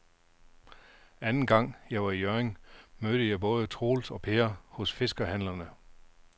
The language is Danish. Anden gang jeg var i Hjørring, mødte jeg både Troels og Per hos fiskehandlerne.